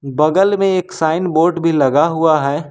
बगल में एक साइन बोर्ड भी लगा हुआ है।